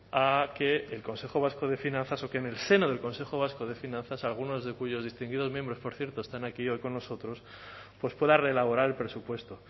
a que el consejo vasco de finanzas o que en el seno del consejo vasco de finanzas algunos de cuyos distinguidos miembros por cierto están aquí hoy con nosotros pues pueda reelaborar el presupuesto